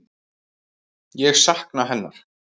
Ég sakna hennar.